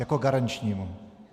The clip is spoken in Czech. Jako garančnímu.